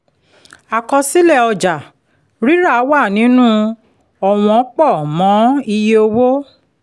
àkọsílẹ̀ ọjà-rírà wà nínú ọ̀wọ̀n pọ̀ mọ́ iye owó